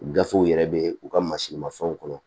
Gafew yɛrɛ bɛ u ka masirimafɛnw kɔnɔ